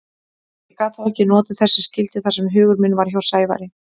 Ég gat þó ekki notið þess sem skyldi þar sem hugur minn var hjá Sævari.